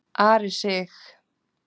Ari Sig.